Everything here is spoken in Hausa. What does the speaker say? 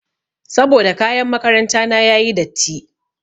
Saboda kayan makaranta na yayi datti.